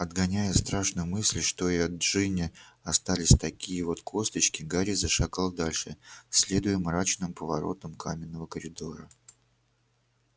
отгоняя страшную мысль что и от джинни остались такие вот косточки гарри зашагал дальше следуя мрачным поворотам каменного коридора